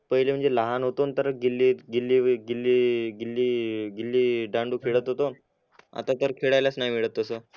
पहिले म्हणजे लहान होतो ना तर गिल्ले गिल्ले गिल्ले गिल्ले गिल्ले दांडू खेळात होतो आता तर खेळायलाच नी वेडच तस